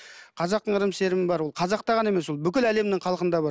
қазақтың ырым сенімі бар ол қазақта ғана емес ол бүкіл әлемнің халқында бар